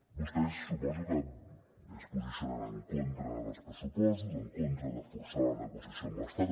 vostès suposo que es posicionen en contra dels pressupostos en contra de forçar la negociació amb l’estat